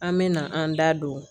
An mɛna an da don